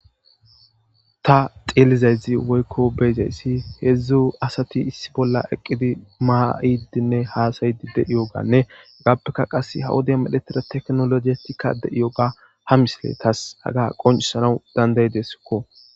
Ta xillizayzi woykko beyzayssi hedzdzu asati issi bolla eqqidi maa7idinne haasayidi de7iyoganne hagaappeka qase hawode miletera teknologetikka de7iyoga ha misile taas aga qoncisanau dandayi deskko.